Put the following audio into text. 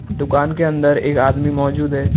दुकान के अंदर एक आदमी मौजूद है ।